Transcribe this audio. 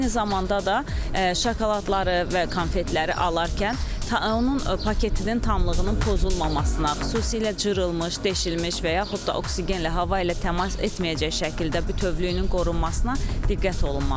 Eyni zamanda da şokoladları və konfetləri alarkən onun paketinin tamlığının pozulmamasına, xüsusilə cırılmış, deşirilmiş və yaxud da oksigenlə hava ilə təmas etməyəcək şəkildə bütövlüyünün qorunmasına diqqət olunmalıdır.